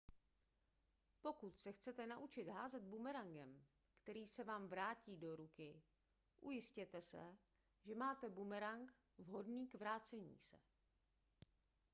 pokud se chcete naučit házet bumerangem který se vám vrátí do ruky ujistěte se že máte bumerang vhodný k vracení se